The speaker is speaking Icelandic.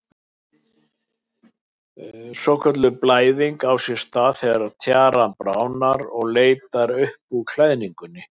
Svokölluð blæðing á sér stað þegar tjaran bráðnar og leitar upp úr klæðingunni.